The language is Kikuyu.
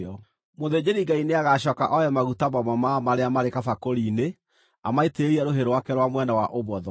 Mũthĩnjĩri-Ngai nĩagacooka oe maguta mamwe marĩa marĩ kabakũri-inĩ amaitĩrĩre rũhĩ rwake rwa mwena wa ũmotho,